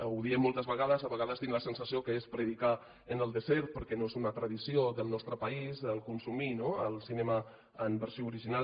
ho diem moltes vegades a vegades tinc la sensació que és predicar en el desert perquè no és una tradició del nostre país consumir no el cinema en versió original